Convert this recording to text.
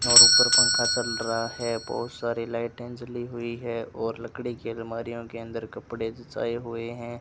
और ऊपर पंखा चल रहा है बहुत सारी लाइटें जली हुई है और लकड़ी की अलमारियों के अंदर कपड़े सजाए हुए हैं।